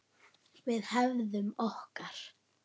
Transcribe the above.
Við hefnum okkar.